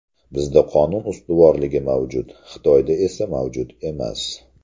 Bizda qonun ustuvorligi mavjud, Xitoyda esa mavjud emas.